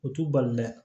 U t'u bali dɛ